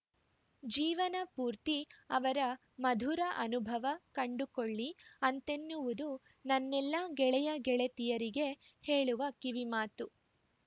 ಜೀವನ ಪೂರ್ತಿ ಅದರ ಮಧುರ ಅನುಭವ ಕಂಡುಕೊಳ್ಳಿ ಅಂತೆನ್ನುವುದು ನನ್ನೆಲ್ಲ ಗೆಳೆಯಗೆಳತಿಯರಿಗೆ ಹೇಳುವ ಕಿವಿ ಮಾತು